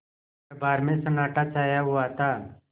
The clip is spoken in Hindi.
दरबार में सन्नाटा छाया हुआ था